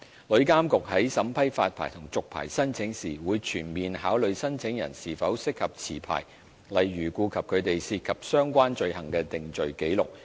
旅監局在審批發牌和續牌申請時，會全面考慮申請人是否適合持牌，例如顧及他們涉及相關罪行的定罪紀錄。